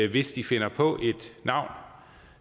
hvis de finder på et navn